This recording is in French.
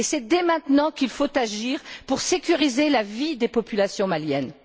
Et c'est dès maintenant qu'il faut agir pour sécuriser la vie des populations maliennes.